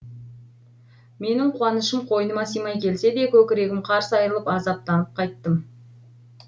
менің қуанышым қойныма симай келсе де көкірегім қарс айрылып азаптанып қайттым